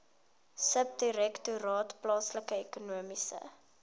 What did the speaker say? subdirektoraat plaaslike ekonomiese